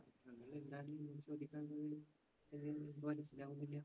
എന്തായിരുന്നു അങ്ങിനെ ചോദിക്കാൻ തോന്നിയത്? അത് എനിക്ക് മനസ്സിലാവുന്നില്ല.